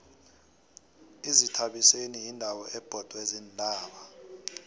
izithabiseni yindawo ebhodwe ziintaba